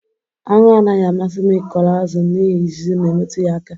anwụ anaghị amasị m ịkọrọ azụ m n'ihi ijiji na-emetụ ya aka